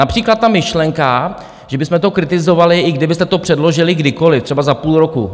Například ta myšlenka, že bychom to kritizovali, i kdybyste to předložili kdykoliv, třeba za půl roku.